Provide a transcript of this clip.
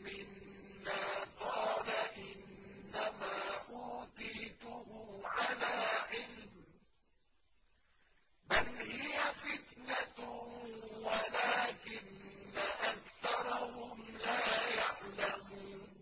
مِّنَّا قَالَ إِنَّمَا أُوتِيتُهُ عَلَىٰ عِلْمٍ ۚ بَلْ هِيَ فِتْنَةٌ وَلَٰكِنَّ أَكْثَرَهُمْ لَا يَعْلَمُونَ